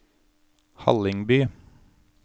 Hallingby